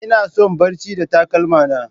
Ina son barci da takalma na.